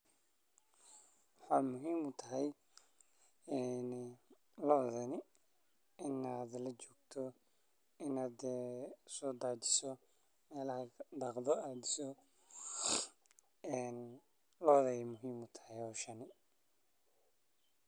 Waxaa muhiim u tahay lodhani I aa lajogto in a sodajisho lodha ayey muhiim u tahay hoshan.